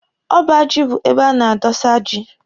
Ọba ji bụ ebe a na-adọsa ji.